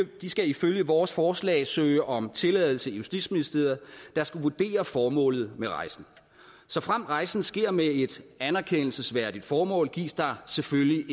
de skal ifølge vores forslag søge om tilladelse i justitsministeriet der skal vurdere formålet med rejsen såfremt rejsen sker med et anerkendelsesværdigt formål gives der selvfølgelig